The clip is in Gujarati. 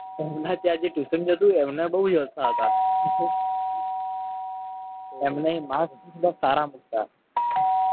એમને ત્યાં જે tuition જ હતું. એમને બહુ જલસા હતા એમને marks પણ સારા મુકતા.